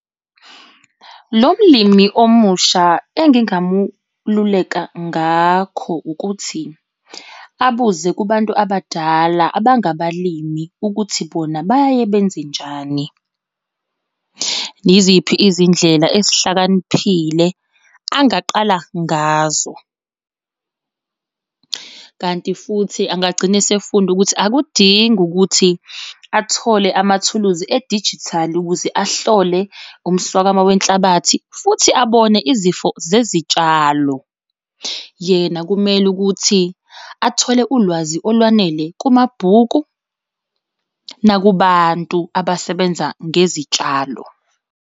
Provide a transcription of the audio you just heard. Lo mlimi omusha engingamululeka ngakho ukuthi abuze kubantu abadala abangabalimi ukuthi bona bayaye benze njani. Yiziphi izindlela ezihlakaniphile angaqala ngazo? Kanti futhi angagcina esefunda ukuthi akudingi ukuthi athole amathuluzi edijithali ukuze ahlole umswakamo wenhlabathi futhi abone izifo zezitshalo. Yena kumele ukuthi athole ulwazi olwanele kumabhuku nakubantu abasebenza ngezitshalo.